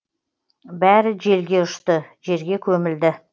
бәрі желге ұшты жерге көмілді